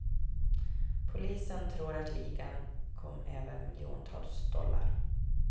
Polisen tror att ligan kom över miljontals dollar.